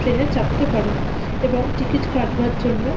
train -এ চাপতে পারেন এবং টিকিট কাটবার জন্য--